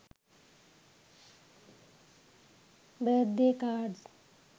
birthday cards